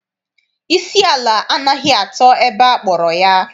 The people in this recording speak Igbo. Isi ala anaghị atọ ebe akpọrọ ya.